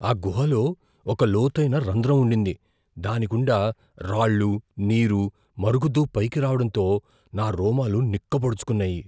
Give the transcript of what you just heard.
ఆ గుహలో ఒక లోతైన రంధ్రం ఉండింది, దాని గుండా రాళ్ళు, నీరు మరుగుతూ పైకి రావడంతో నా రోమాలు నిక్కపొడుచుకున్నాయి.